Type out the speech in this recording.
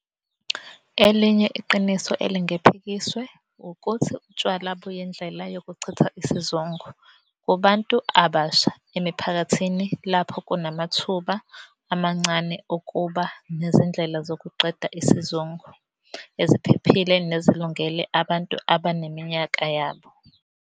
Elinye iqiniso elingephikiswe wukuthi utshwala buyindlela yokuchitha isizungu kubantu abasha emiphakathini lapho kunamathuba amancane okuba nezindlela zokuqeda isizungu eziphephile nezilungele abantu abaneminyaka yabo.